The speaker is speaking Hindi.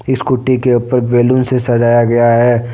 स्कूटी के ऊपर बैलून से से सजाया गया है।